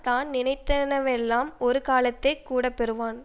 தானினைத்தனவெல்லாம் ஒருகாலத்தே கூடப்பெறுவன்